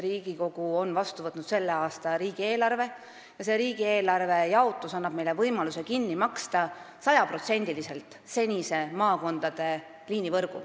Riigikogu on vastu võtnud selle aasta riigieelarve ja selle jaotus annab meile võimaluse senise maakondade liinivõrgu sajaprotsendiliselt kinni maksta.